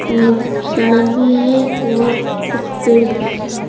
और सड़क भी है और कुछ पेड़ भी लगा है।